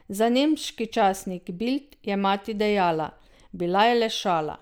Za nemški časnik Bild je mati dejala: "Bila je le šala.